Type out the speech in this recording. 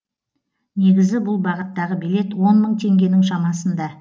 негізі бұл бағыттағы билет он мың теңгенің шамасында